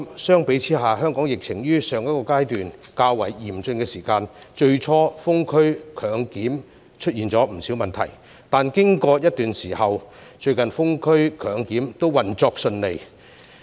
相比之下，香港疫情於上一個階段較為嚴峻時，最初的封區強檢出現了不少問題，但經過一段時間後，最近封區強檢都運作順暢了。